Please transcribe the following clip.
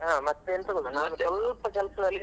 busy ಇದ್ದೀರಾ?